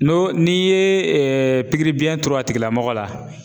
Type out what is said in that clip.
N'o n'i ye pikiri biyɛn turu a tigilamɔgɔ la